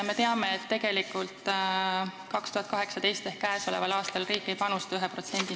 Me teame, et tegelikult 2018. aastal ehk käesoleval aastal ei panusta riik 1%.